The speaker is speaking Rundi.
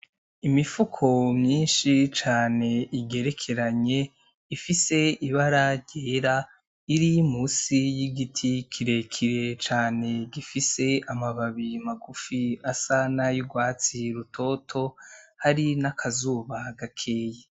Imifuko myinshi cane igerekeranye ifise ibara ryera iri musi y'igiti kirekire cane gifise amababi magufi asa n'ayurwatsi rutoto hari n'akazuba gakeyi.